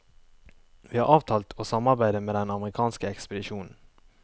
Vi har avtalt å samarbeide med den amerikanske ekspedisjonen.